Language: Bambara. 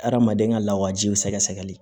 Adamaden ka lawajiw sɛgɛsɛgɛli